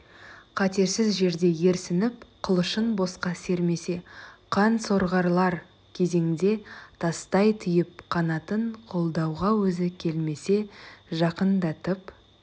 қатерсіз жерде ерсініп қылышын босқа сермесе қан сорғалар кезеңде тастай түйіп қанатын қолдауға өзі келмесе жақындатып